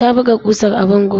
Ta buga ƙusar a bango.